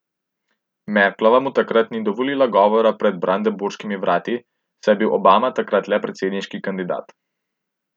Merklova mu takrat ni dovolila govora pred Brandenburškimi vrati, saj je bil Obama takrat le predsedniški kandidat.